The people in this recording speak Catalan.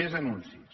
més anuncis